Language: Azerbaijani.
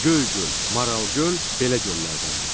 Göygöl, Maral göl belə göllərdəndir.